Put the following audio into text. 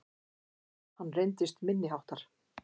Hann reyndist minniháttar